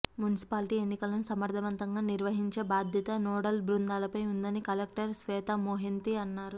municipality ఎన్నికలను సమర్ధవంతంగా నిర్వహించే బాధ్యత నోడల్ బృందాలపై ఉందని కలెక్టర్ శ్వేతామొహంతి అన్నారు